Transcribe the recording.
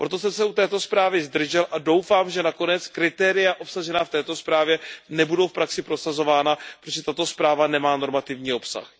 Proto jsem se u této zprávy zdržel a doufám, že nakonec kritéria obsažená v této zprávě nebudou v praxi prosazována, protože tato zpráva nemá normativní obsah.